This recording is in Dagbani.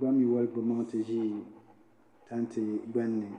ban yila kpaŋ na ti ʒi tanti gbunni